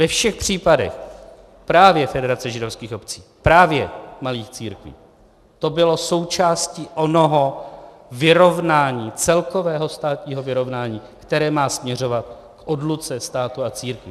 Ve všech případech právě Federace židovských obcí, právě malých církví to bylo součástí onoho vyrovnání, celkového státního vyrovnání, které má směřovat k odluce státu a církví.